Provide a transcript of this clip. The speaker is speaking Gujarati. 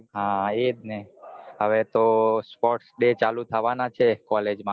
હા એજ ને હવે તો sports day ચાલુ થવાનાં છે college માં